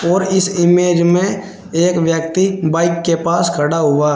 और इस इमेज में एक व्यक्ति बाइक के पास खड़ा हुआ है।